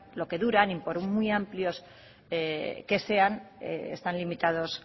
lo que duran y que por muy amplios que sean están limitados